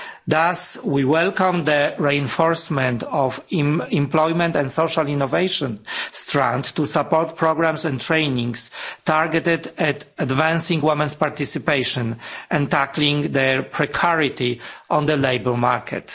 Thus, we welcome the reinforcement of employment and social innovation strands to support programmes and training targeted at advancing women's participation and tackling their precarity on the labour market.